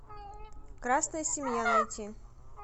красная семья найти